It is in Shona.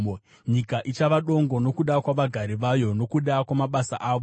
Nyika ichava dongo nokuda kwavagari vayo, nokuda kwamabasa avo.